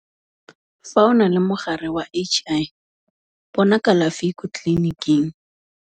Fa o na le mogare wa HI, bona kalafi ko tleleniking.